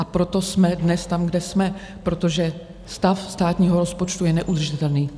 A proto jsme dnes tam, kde jsme, protože stav státního rozpočtu je neudržitelný.